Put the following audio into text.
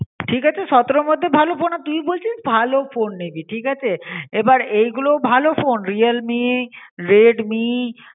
ঠিক আছে সতেরোর মধ্যে ভালো ফোন, তুই বলছিস ভালো ফোন নিবি ঠিক আছে, এবার এই গুলো ভালো ফোন Realme Redmi